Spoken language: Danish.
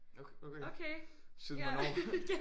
Okay siden hvornår?